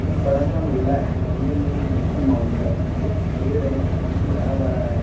एक बड़ा सा मेला है मेले में एक मिक्की माउस है एक पेड़ है जो की हरा-भरा है।